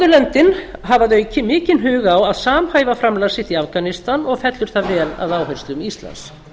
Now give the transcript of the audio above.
norðurlöndin hafa mikinn hug á að samhæfa framlag sitt í afganistan og fellur það vel að áherslum íslands